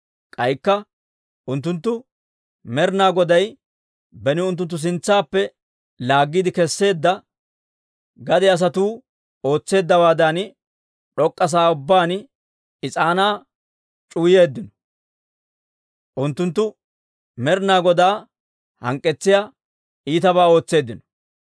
K'aykka unttunttu Med'ina Goday beni unttunttu sintsaappe laaggiide kesseedda gade asatuu ootseeddawaadan, d'ok'k'a sa'aa ubbaan is'aanaa c'uwayeeddino. Unttunttu Med'ina Godaa hank'k'etsiyaa iitabaa ootseeddino.